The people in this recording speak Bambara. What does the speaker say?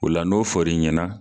O la n'o fɔr'i ɲɛna